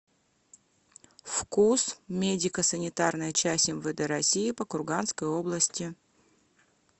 фкуз медико санитарная часть мвд россии по курганской области